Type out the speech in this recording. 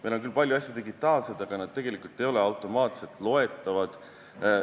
Meil on küll palju asju digitaalsed, aga nad tegelikult ei ole automaatselt loetavad.